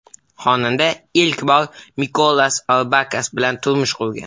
Xonanda ilk bor Mikolas Orbakas bilan turmush qurgan.